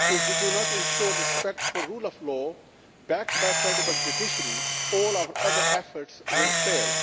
If we do not ensure respect for the rule of law, backed by a credible judiciary, all our other efforts will fail.